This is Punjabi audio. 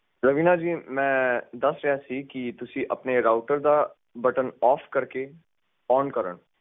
ਰਵੀਨਾ ਜੀ ਮੈਂ ਦੱਸ ਰਿਹਾ ਸੀ ਕੀ ਤੁਸੀਂ ਆਪਣੇ ਰਾਊਟਰ ਦਾ ਬਟਨ ਓਫ ਕਰਕੇ ਓਨ ਕਰਨ